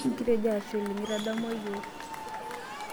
Kitejo ashe oleng' itadamua yiok.